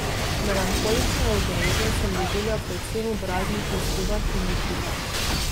Melanholične ugreze sem doživljal predvsem ob raznih izgubah in ločitvah.